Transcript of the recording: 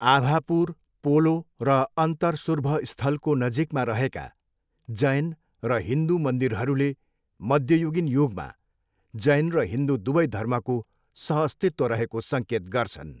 आभापुर, पोलो र अन्तरसुर्भ स्थलको नजिकमा रहेका जैन र हिन्दू मन्दिरहरूले मध्ययुगीन युगमा जैन र हिन्दू दुवै धर्मको सहअस्तित्व रहेको सङ्केत गर्छन्।